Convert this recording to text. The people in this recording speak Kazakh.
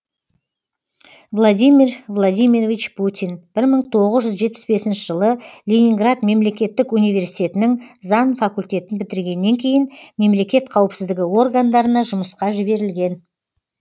владимир владимирович путин бір мың тоғыз жүз жетпіс бесінші жылы ленинград мемлекеттік университетінің заң факультетін бітіргеннен кейін мемлекет қауіпсіздігі органдарына жұмысқа жіберілген